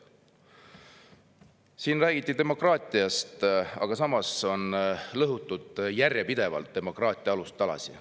Siin räägiti demokraatiast, aga samas on järjepidevalt lõhutud demokraatia alustalasid.